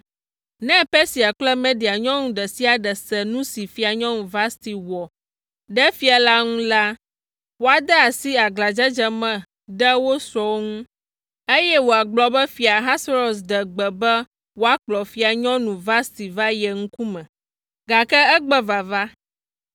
Ne Persia kple Media nyɔnu ɖe sia ɖe se nu si Fianyɔnu Vasti wɔ ɖe fia la ŋu la, woade asi aglãdzedze me ɖe wo srɔ̃wo ŋu, eye wòagblɔ be Fia Ahasuerus ɖe gbe be woakplɔ Fianyɔnu Vasti va ye ŋkume, gake egbe vava.